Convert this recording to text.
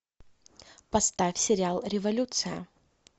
поставь сериал революция